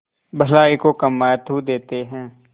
भलाई को कम महत्व देते हैं